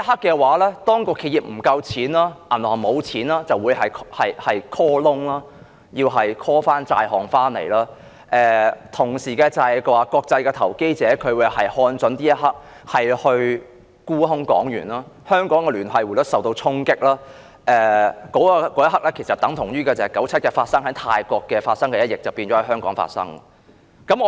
屆時，當企業資金不足，銀行沒有錢便會進行 call loan， 收回所有債項，同時國際投資者亦會看準時機沽空港元，香港聯繫匯率將會受到衝擊，這一刻，於1997年泰國發生的一役便將會在香港發生。